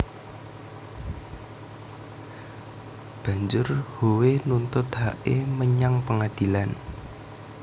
Bajur Howe nuntut hake manyang pengadilan